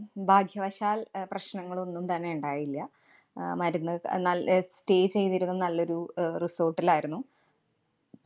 ഭാഗ്യവശാല്‍ അഹ് പ്രശ്നങ്ങള്‍ ഒന്നും തന്നെ ഇണ്ടായില്ല. അഹ് മരുന്ന് അഹ് നല്ല ഏർ stay ചെയ്തിരുന്നത് നല്ലൊരു അഹ് resort ലായിരുന്നു.